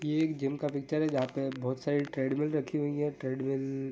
ये एक जिम की पिक्चर है जहा पे बहुत सारे ट्रेडमिल रखी हुई ट्रेडमिल --